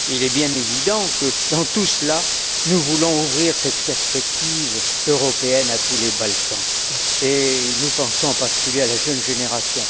Il est bien évident que, dans tout cela, nous voulons ouvrir cette perspective européenne à tous les Balkans, et nous pensons en particulier à la jeune génération.